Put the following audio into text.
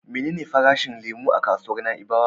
Menene farashin lemo a kasuwar Na'ibawa?